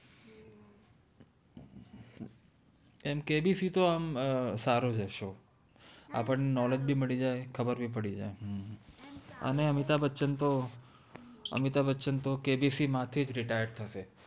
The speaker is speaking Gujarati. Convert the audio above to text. એમ કેબિસિ તો આમ અર સારો છે શો આપ્દ ને બિ મદિ જાએ ખબર ભી પદી જાએ હમ અને અમિતાભ બ્છાઆન તો અમિતભ બચન તો કેબિસિ મા થિ જ retire થશે